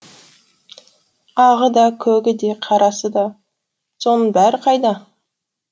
ағы да көгі де қарасы да соның бәрі қайда